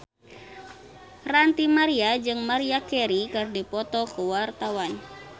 Ranty Maria jeung Maria Carey keur dipoto ku wartawan